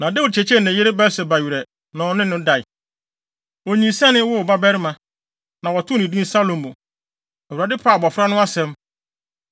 Na Dawid kyekyeree ne yere Batseba werɛ, na ɔne no dae. Onyinsɛnee, woo ɔbabarima, na wɔtoo no din Salomo. Awurade pɛɛ abofra no asɛm,